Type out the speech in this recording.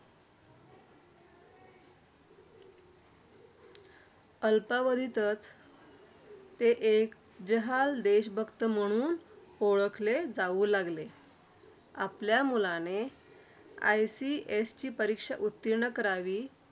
अल्पावधीतच ते एक जहाल देशभक्त म्हणून ओळखले जाऊ लागले. आपल्या मुलाने ICS. ची परीक्षा उत्तीर्ण करावी.